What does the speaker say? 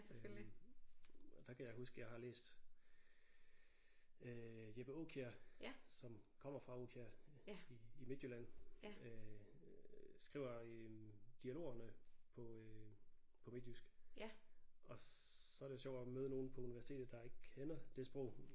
Øh og der kan jeg huske jeg har læst øh Jeppe Aakjær som kommer fra Aakjær i i Midtjylland øh skriver en dialog om øh på øh på midtjysk og så er det jo sjovt at møde nogen på universitetet der ikke kender det sprog